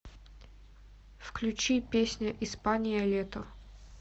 включи песня испания лето